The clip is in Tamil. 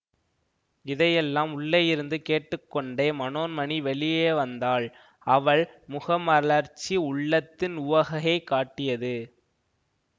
இதையெல்லாம் உள்ளேயிருந்து கேட்டு கொண்டே மனோன்மணி வெளியே வந்தாள் அவள் முகமலர்ச்சி உள்ளத்தின் உவகையைக் காட்டியது